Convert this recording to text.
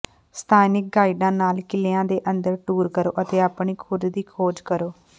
ਸਥਾਨਿਕ ਗਾਈਡਾਂ ਨਾਲ ਕਿਲਿਆਂ ਦੇ ਅੰਦਰ ਟੂਰ ਕਰੋ ਅਤੇ ਆਪਣੀ ਖੁਦ ਦੀ ਖੋਜ ਕਰੋ